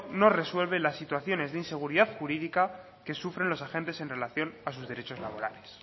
no resuelve las situaciones de inseguridad jurídica que sufren los agentes en relación a sus derechos laborales